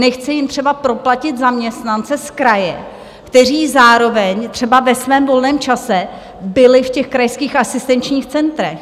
Nechce jim třeba proplatit zaměstnance z kraje, kteří zároveň třeba ve svém volném času byli v těch krajských asistenčních centrech.